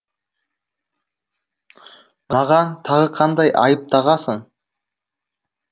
маған тағы қандай айып тағасың